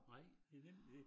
Nej det nemlig det